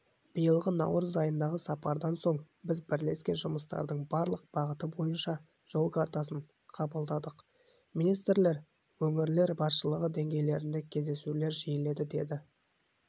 биылғы наурыз айындағы сапардан соң біз бірлескен жұмыстардың барлық бағыты бойынша жол картасын қабылдадық министрлер өңірлер басшылары деңгейіндегі кездесулер жиіледі деді